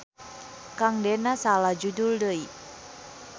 Kang dena salah judul deui.